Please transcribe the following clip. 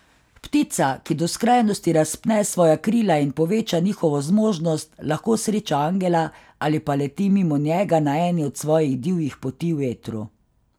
Ptica, ki do skrajnosti razpne svoja krila in poveča njihovo zmožnost, lahko sreča angela ali pa leti mimo njega na eni od svojih divjih poti v etru.